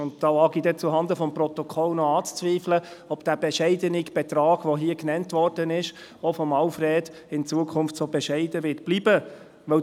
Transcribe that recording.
Und da wage ich dann, zuhanden des Protokolls, noch anzuzweifeln, ob dieser bescheidene Betrag, der hier auch von Alfred Bärtschi genannt worden ist, in Zukunft so bescheiden bleiben wird.